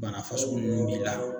Bana fasugu nunnu b'i la